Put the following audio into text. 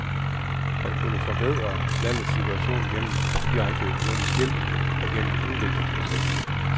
Man kunne forbedre landets situation gennem direkte økonomisk hjælp og gennem udviklingsprojekter.